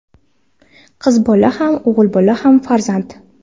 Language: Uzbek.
Qiz bola ham, o‘g‘il bola ham farzand.